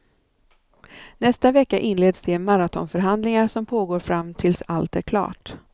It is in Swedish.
Nästa vecka inleds de maratonförhandlingar som pågår fram tills allt är klart.